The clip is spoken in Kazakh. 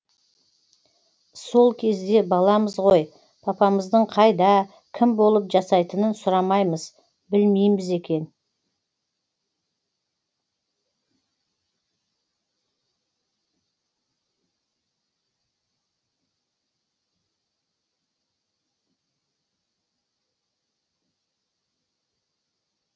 сол кезде баламыз ғой папамыздың қайда кім болып жасайтынын сұрамаймыз білмейміз екен